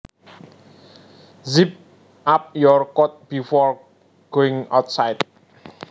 Zip up your coat before going outside